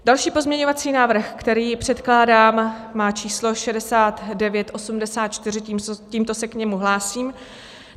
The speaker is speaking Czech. Další pozměňovací návrh, který předkládám, má číslo 6984, tímto se k němu hlásím.